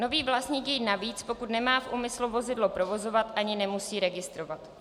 Nový vlastník jej navíc, pokud nemá v úmyslu vozidlo provozovat, ani nemusí registrovat.